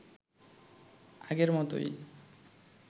আগের মতোই